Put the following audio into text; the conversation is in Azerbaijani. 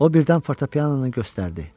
O birdən fortepianonu göstərdi.